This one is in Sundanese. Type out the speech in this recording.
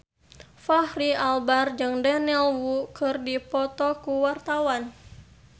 Fachri Albar jeung Daniel Wu keur dipoto ku wartawan